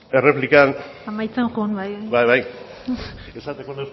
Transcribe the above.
erreplikan bukatzen joan bai bai esateko